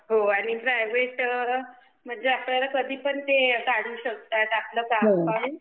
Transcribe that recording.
हो आणि प्रायव्हेट मध्ये आपल्याला कधीपण ते काढू शकतात आपलं काम पाहून